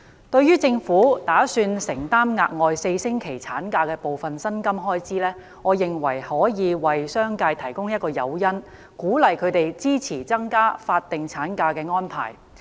對於政府打算承擔額外4周產假的部分薪金開支，我認為可以為商界提供誘因，鼓勵他們支持增加法定產假的安排。